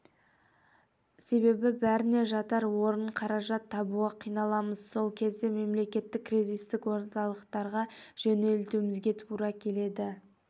себебі бәріне жатар орын қаражат табуға қиналамыз сол кезде мемлекеттік кризистік орталықтарға жөнелтуімізге тура келеді